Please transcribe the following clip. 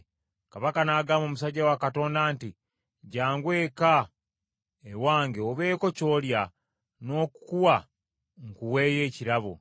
Kabaka n’agamba omusajja wa Katonda nti, “Jjangu eka ewange obeeko ky’olya, n’okukuwa nkuweeyo ekirabo.”